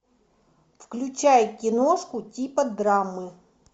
включай киношку типа драмы